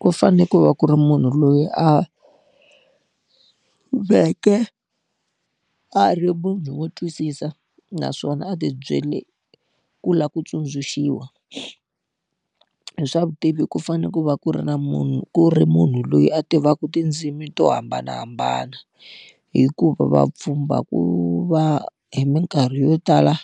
Ku fanele ku va ku ri munhu loyi a ve ke a ri munhu wo twisisa naswona a ti byele ku lava ku tsundzuxiwa. Hi swa vutivi ku fanele ku va ku ri na munhu ku ri munhu loyi a tivaka tindzimi to hambanahambana. Hikuva vapfhumba ku va hi minkarhi yo tala,